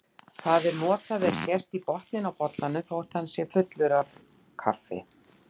Það er notað ef sést í botninn á bollanum þótt hann sé fullur af kaffi.